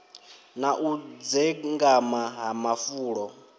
na u dzengama ha mafulo